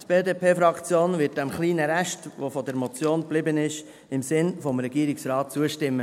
Die BDP-Fraktion wird diesem kleinen Rest, der von der Motion geblieben ist, im Sinne des Regierungsrates zustimmen.